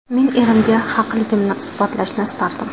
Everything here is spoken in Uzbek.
Men erimga haqligimni isbotlashni istardim.